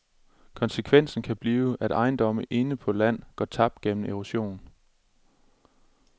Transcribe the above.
Konsekvensen kan blive, at ejendomme inde på land går tabt gennem erosion.